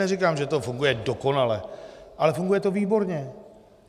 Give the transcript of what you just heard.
Neříkám, že to funguje dokonale, ale funguje to výborně.